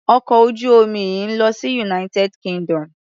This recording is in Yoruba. Ọkọ̀ ojú omi yìí ń lọ sí United Kingdom.